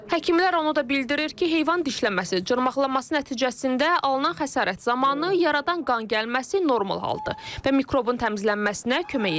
Həkimlər onu da bildirir ki, heyvan dişləməsi, cırmaqlaması nəticəsində alınan xəsarət zamanı yaradan qan gəlməsi normal haldır və mikrobun təmizlənməsinə kömək edir.